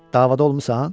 Davada olmusan?